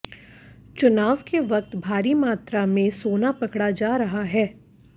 चुनाव के वक्त भारी मात्रा में सोना पकड़ा जा रहा है